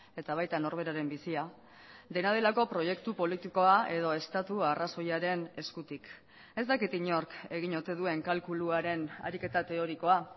eta baita norberaren bizia dena delako proiektu politikoa edo estatu arrazoiaren eskutik ez dakit inork egin ote duen kalkuluaren ariketa teorikoa